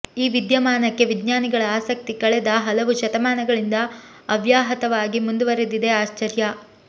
ಈ ವಿದ್ಯಮಾನಕ್ಕೆ ವಿಜ್ಞಾನಿಗಳ ಆಸಕ್ತಿ ಕಳೆದ ಹಲವು ಶತಮಾನಗಳಿಂದ ಅವ್ಯಾಹತವಾಗಿ ಮುಂದುವರಿದಿದೆ ಆಶ್ಚರ್ಯ